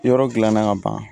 Yɔrɔ dilanna ka ban